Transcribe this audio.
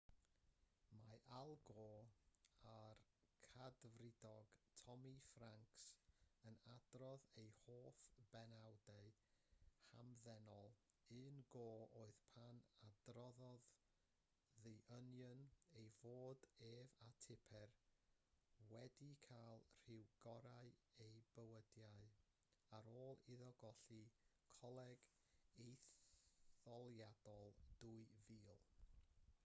mae al gore a'r cadfridog tommy franks yn adrodd eu hoff benawdau'n hamddenol un gore oedd pan adroddodd the onion ei fod ef a tipper yn cael rhyw gorau eu bywydau ar ôl iddo golli coleg etholiadol 2000